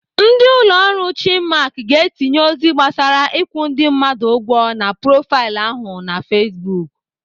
Ndị ụlọ ọrụ Chinmark ga-etinye ozi gbasara ịkwụ ndị mmadụ ụgwọ na profaịlụ ahụ na Facebook.